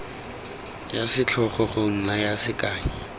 ya setlhogo go naya sekai